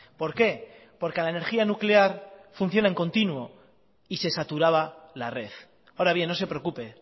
por qué porque la energía nuclear funciona en continuo y se saturaba la red ahora bien no se preocupe